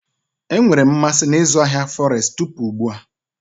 Enwere m mmasị na ịzụ ahịa Forestu tupu ugbu a.